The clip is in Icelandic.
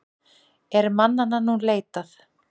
Er mannanna nú leitað.